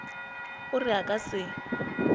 o re a ka se